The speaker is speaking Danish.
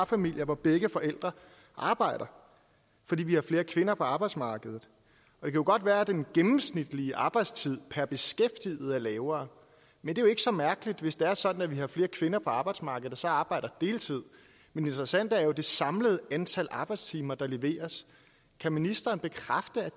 familier hvor begge forældre arbejder fordi vi har flere kvinder på arbejdsmarkedet det kan godt være at den gennemsnitlige arbejdstid per beskæftiget er lavere men det er jo så mærkeligt hvis det er sådan at vi har flere kvinder på arbejdsmarkedet der så arbejder deltid men det interessante er jo det samlede antal arbejdstimer der leveres kan ministeren bekræfte